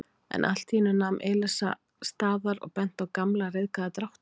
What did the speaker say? en allt í einu nam Elísa staðar og benti á gamla ryðgaða dráttarvél.